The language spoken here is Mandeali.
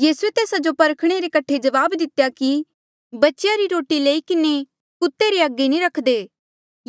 यीसूए तेस्सा जो परखणे रे कठे जवाब दितेया कि बच्चेया री रोटी लई किन्हें कुत्ते रे अगे नी रखदे